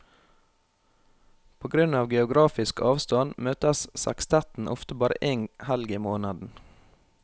På grunn av geografisk avstand møtes sekstetten ofte bare én helg i måneden.